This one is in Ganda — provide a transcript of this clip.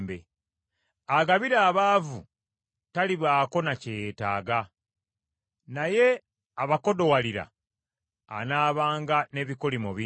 Agabira abaavu talibaako ne kye yeetaaga, naye abakodowalira anaabanga n’ebikolimo bingi.